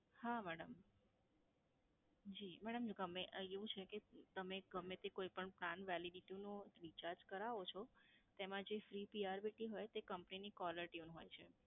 હા madam. જી madam ગમે, આ એવું છે કે તમે ગમ્મે તે કોઈ પણ plan validity નું recharge કરાવો છો, તેમાં જે free B R P T હોય, તે company ની caller tune હોય છે.